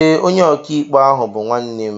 Ee, onye ọkàikpe ahụ bú nwanne m